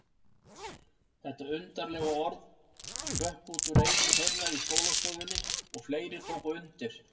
Þetta undarlega orð hrökk út úr einum þeirra í skólastofunni og fleiri tóku undir.